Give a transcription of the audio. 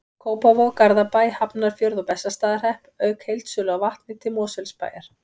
Kópavog, Garðabæ, Hafnarfjörð og Bessastaðahrepp, auk heildsölu á vatni til Mosfellsbæjar.